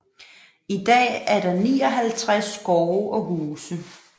I dag er der 59 gårde og huse